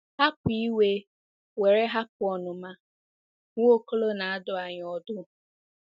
"Hapụ iwe were hapụ ọnụma," Nwaokolo na-adụ anyị ọdụ.